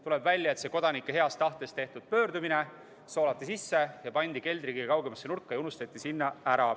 Tuleb välja, et see kodanike heast tahtest tehtud pöördumine soolati sisse, pandi keldri kõige kaugemasse nurka ja unustati sinna.